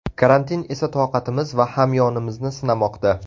Karantin esa toqatimiz va hamyonimizni sinamoqda.